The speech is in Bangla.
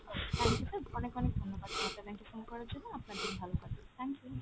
thank you sir, অনেক অনেক ধন্যবাদ জনতা bank এ phone করার জন্য, আপনার দিন ভালো কাটুক, thank you।